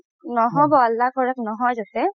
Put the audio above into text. নহ'ব আল্লাহ কৰক নহয় যাতে